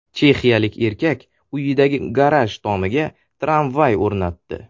Chexiyalik erkak uyidagi garaj tomiga tramvay o‘rnatdi .